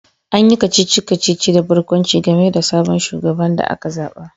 An yi kacici-kacici da barkwanci game da sabon shugaban da aka zaba